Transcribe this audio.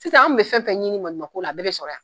Sisan an kun be fɛn fɛn ɲini maɲumatɔ ko la a bɛɛ be sɔrɔ yan